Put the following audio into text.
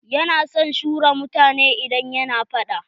Ya na son shura mutane idan yana faɗa.